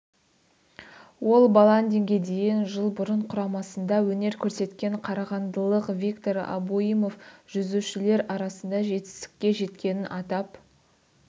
ол баландинге дейін жыл бұрын құрамасында өнер көрсеткен қарағандылық виктор абоимов жүзушілер арасында жетістікке жеткенін атап